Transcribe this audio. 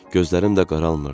Gözlərim də qaralmırdı.